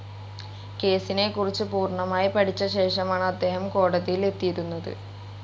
കേസിനെക്കുറിച്ച് പൂർണ്ണമായി പഠിച്ച ശേഷമാണ് അദ്ദേഹം കോടതിയിൽ എത്തിയിരുന്നത്.